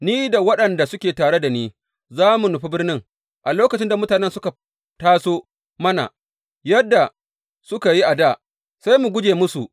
Ni da waɗanda suke tare da ni za mu nufi birnin, a lokacin da mutanen suka taso mana yadda suka yi dā, sai mu guje musu.